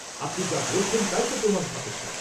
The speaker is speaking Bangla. আপনি যা বলেছেন তাইত প্রমাণ সাপেক্ষ।